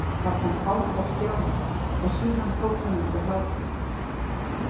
Það kom fát á Stjána, en síðan tók hann undir hláturinn.